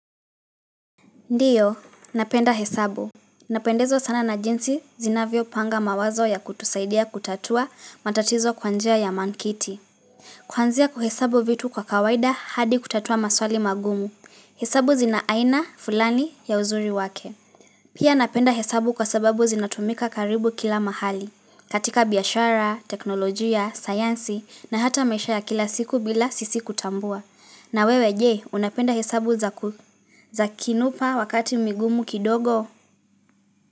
Ndiyo, napenda hesabu. Napendezwa sana na jinsi zinavyopanga mawazo ya kutusaidia kutatua matatizo kwa njia ya mankiti. Kwanzia kuhesabu vitu kwa kawaida hadi kutatua maswali magumu. Hesabu zina aina, fulani, ya uzuri wake. Pia napenda hesabu kwa sababu zinatumika karibu kila mahali. Katika biashara, teknolojia, sayansi na hata maisha ya kila siku bila sisi kutambua. Na wewe je unapenda hesabu za kinupa wakati migumu kidogo.